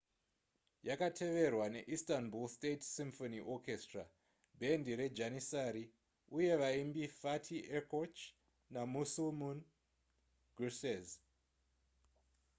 yakateverwa neistanbul state symphony orchestra bhendi rejanissary uye vaimbi fatih erkoç namüslüm gürses